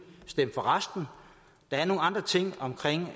stemme for resten der er nogle andre ting